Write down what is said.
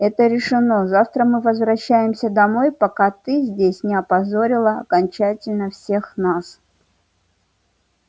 это решено завтра мы возвращаемся домой пока ты здесь не опозорила окончательно всех нас